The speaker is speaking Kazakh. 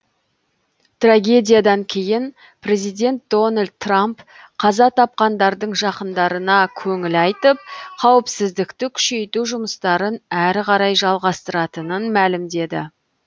трагедиядан кейін президент дональд трамп қаза тапқандардың жақындарына көңіл айтып қауіпсіздікті күшейту жұмыстарын әрі қарай жалғастыратынын мәлімдеді